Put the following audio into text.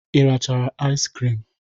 Ị rachara iz krim?